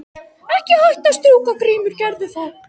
Ekki hætta að strjúka Grímur gerðu það.